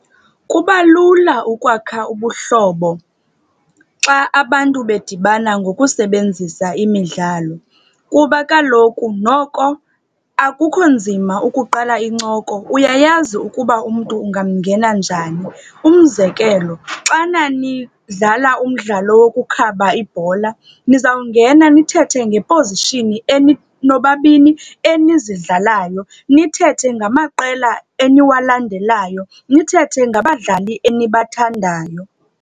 Kuba lula ukwakha ubuhlobo xa abantu bedibana ngokusebenzisa imidlalo kuba kaloku noko akukho nzima ukuqala incoko, uyayazi ukuba umntu ungamngena njani. Umzekelo, xana nidlala umdlalo wokukhaba ibhola, nizawungena nithethe ngepozishini nobabini enizidlalayo, nithethe ngamaqela eniwalandelayo, nithethe ngabadlali enibathandayo.